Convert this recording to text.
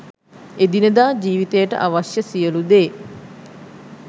එදිනෙදා ජීවිතයට අවශ්‍ය සියලු දේ